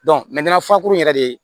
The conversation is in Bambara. faakuru yɛrɛ le